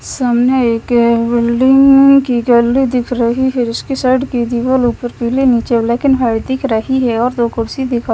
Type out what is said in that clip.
सामने एक अ बिल्डिंग की गैलरी दिख रही है जिसकी साइड की दीवारों पर पीले नीचे ब्लैक एंड व्हाइट दिख रही और दो कुर्सी दिखाइ --